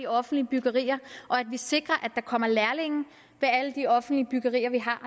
offentlige byggerier og at vi sikrer at der kommer lærlinge ved alle de offentlige byggerier vi har